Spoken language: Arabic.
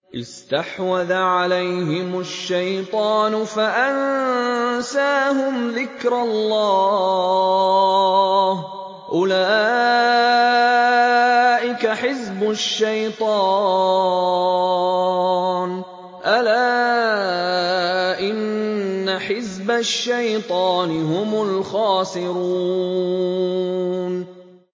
اسْتَحْوَذَ عَلَيْهِمُ الشَّيْطَانُ فَأَنسَاهُمْ ذِكْرَ اللَّهِ ۚ أُولَٰئِكَ حِزْبُ الشَّيْطَانِ ۚ أَلَا إِنَّ حِزْبَ الشَّيْطَانِ هُمُ الْخَاسِرُونَ